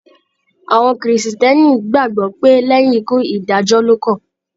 Àwọn Kìrìsìtẹ́ẹ́nì gbàgbọ́ pé lẹ́yìn ikú, ìdájọ́ ló kàn.